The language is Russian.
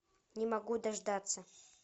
не могу дождаться